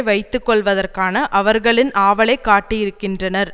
வைத்து கொள்வதற்கான அவர்களின் ஆவலைக் காட்டியிருக்கின்றனர்